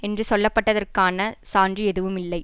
என்று சொல்லப்பட்டதற்கான சான்று எதுவும் இல்லை